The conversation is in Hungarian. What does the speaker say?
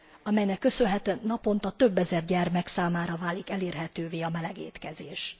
amelynek köszönhetően naponta több ezer gyermek számára válik elérhetővé a meleg étkezés.